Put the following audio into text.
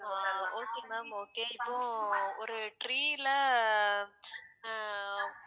அஹ் okay ma'am okay இப்போ ஒரு tree ல அஹ்